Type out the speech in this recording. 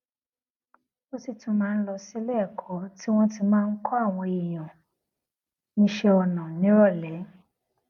ó sì tún máa ń lọ sí iléèkó tí wón ti máa ń kó àwọn èèyàn níṣé ọnà níròlé